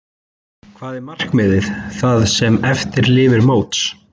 Hvað er markmiðið það sem eftir lifir móts?